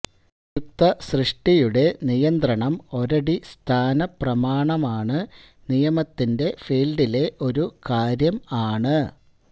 സംയുക്ത സൃഷ്ടിയുടെ നിയന്ത്രണം ഒരടിസ്ഥാനപ്രമാണമാണ് നിയമത്തിന്റെ ഫീൽഡിലെ ഒരു കാര്യം ആണ്